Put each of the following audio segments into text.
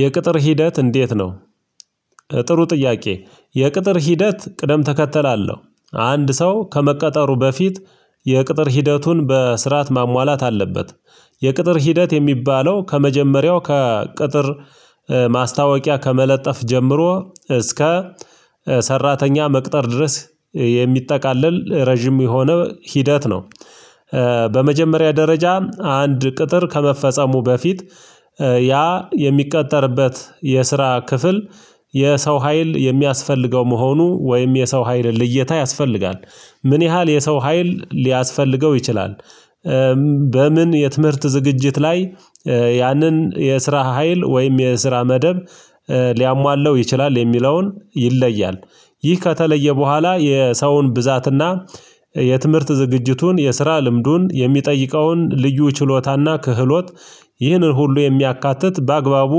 የቅጥር ሂደት እንዴት ነው? ጥሩ ጥያቄ የቅጥር ሂደት ቅደም ተከተል አለሁ አንድ ሰው ከመቀጠሩ በፊት የቅጥር ሂደቱን በስርዓት ማሟላት አለበት። የቅጥር ሂደት የሚባለው ከመጀመሪያው ከቅጥር ማስታወቂያ ከመለጠፍ ጀምሮ እስከ ሰራተኛ መቅጠር ድረስ የሚጠቃለል ረጅም የሆነ ሂደት ነው። በመጀመሪያ ደረጃ አንድ ቅጥር ከመፈጸሙ በፊት ያ የሚቀጠርበት የስራ ክፍል የሰው ሀይል የሚያስፈልገው መሆኑ ወይም የሰው ሀይል ልየታ ያስፈልጋል ምን ያህል የሰው ሀይል ሊያስፈልገው ይችላል? በምን የትምህርት ዝግጅት ላይ ያንን የስራ ሀይል ወይም የስራ መደብ ሊያሟላው ይችላል የሚለውን ይለያል። ይህ ከተለየ በኋላ የሰውን ብዛትና የትምህርት ዝግጅቱን የስራ ልምዱን የሚጠይቀውን ልዩ ችሎታና ክህሎት ይህንን ሁሉ የሚያካትት በአግባቡ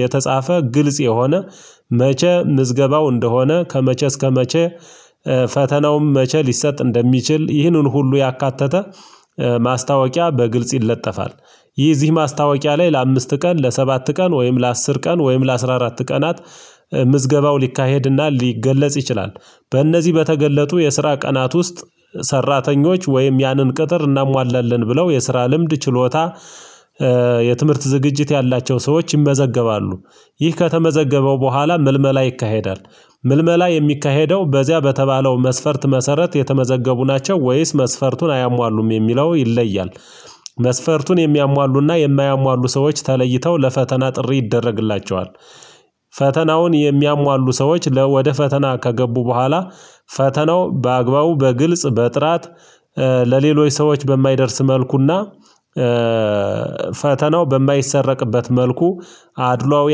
የተጻፈ ግልጽ የሆነ መቼ ምዝገባው እንደሆነ ከመቼ እስከመቼ ፈተናውም መቼ ሊሰጥ እንደሚችል ይህንን ሁሉ ያካተተ ማስታወቂያ በግልጽ ይለጠፋል። ይህ እዚህ ማስታወቂያ ላይ ለአምስት ቀን ለሰባት ቀን ወይም ለአስር ቀን ወይም ለአስራ አራት ቀናት ምዝገባው ሊካሄድና ሊገለጽ ይችላል በእነዚህ በተገለጡ የስራ ቀናት ውስጥ ሰራተኞች ወይም ያንን ቅጥር እናሟላለን ብለው የስራ ልምድ ችሎታ የትምህርት ዝግጅት ያላቸው ሰዎች ይመዘገባሉ። ይህ ከተመዘገበው በኋላ ምልመላ ይካሄዳል ምልመላ የሚካሄደው በዚያ በተባለው መስፈርት መሰረት የተመዘገቡ ናቸው ወይስ መስፈርቱን አያሟሉም የሚለው ይለያል? መስፈርቱን የሚያሟሉና የማያሟሉ ሰዎች ተለይተው ለፈተና ጥሪ ይደረግላቸዋል። ፈተናውን የሚያሟሉ ሰዎች ወደ ፈተና ከገቡ በኋላ ፈተናው በአግባቡ በግልጽ በጥራት ለሌሎች ሰዎች በማይደርስ መልኩና ፈተናው በማይሰረቅበት መልኩ አድሏዊ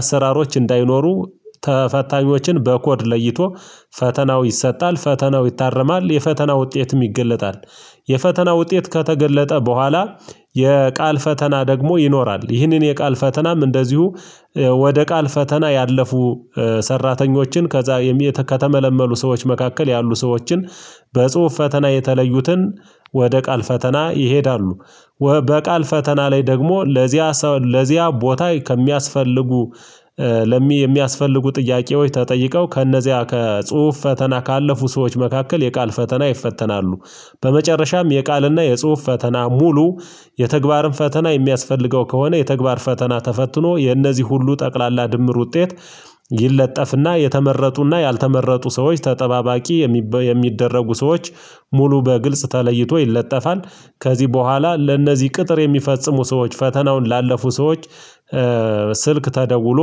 አሰራሮች እንዳይኖሩ ተፈታኞችን በኮድ ለይቶ ፈተናው ይሰጣል ፈተናው ይታረማል የፈተና ውጤትም ይገለጣል። የፈተና ውጤት ከተገለጠ በኋላ የቃል ፈተና ደግሞ ይኖራል ይህንን የቃል ፈተናም እንደዚሁ ወደ ቃል ፈተና ያለፉ ሰራተኞችን ከዚያ ከተመለመሉ ሰዎች መካከል ያሉ ሰዎችን በጽሁፍ ፈተና የተለዩትን ወደ ቃል ፈተና ይሄዳሉ። በቃል ፈተና ላይ ደግሞ ለዚያ ለዚያ ቦታ ከሚያስፈልጉ ለሚ የሚያስፈልጉ ጥያቄዎች ተጠይቀው ከእነዚያ ከጽሁፍ ፈተና ካለፉ ሰዎች መካከል የቃል ፈተና ይፈተናሉ። በመጨረሻም የቃልና የጽሁፍ ፈተና ሙሉ የተግባርም ፈተና የሚያስፈልገው ከሆነ የተግባር ፈተና ተፈትኖ የነዚህ ሁሉ ጠቅላላ ድምር ውጤት ይለጠፍና የተመረጡና ያልተመረጡ ሰዎች ተጠባባቂ የሚደረጉ ሰዎች ሙሉ በግልጽ ተለይቶ ይለጠፋል። ከዚህ በኋላ ለእነዚህ ቅጥር የሚፈጽሙ ሰዎች ፈተናውን ላለፉ ሰዎች ስልክ ተደውሎ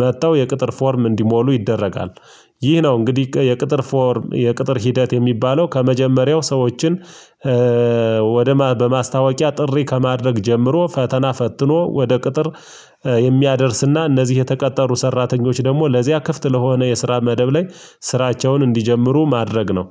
መጥተው የቅጥር ፎርም እንዲሞሉ ይደረጋል። ይህ ነው እንግዲህ የቅጥር ፎርም የቅጥር ሂደት የሚባለው ከመጀመሪያው ሰዎችን ወደ በማስታወቂያ ጥሪ ከማድረግ ጀምሮ ፈተና ፈትኖ ወደ ቅጥር የሚያደርስና እነዚህ የተቀጠሩ ሰራተኞች ደግሞ ለዚያ ክፍት ለሆነ የስራ መደብ ላይ ስራቸውን እንዲጀምሩ ማድረግ ነው።